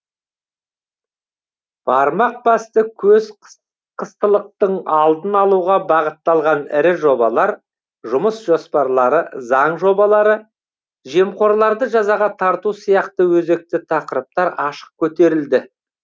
бармақ басты көз қыстылықтың алдын алуға бағытталған ірі жобалар жұмыс жоспарлары заң жобалары жемқорларды жазаға тарту сияқты өзекті тақырыптар ашық көтерілді